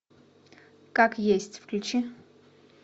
как есть включи